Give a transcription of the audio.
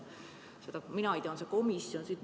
Mina ei tea, on see komisjon või mis.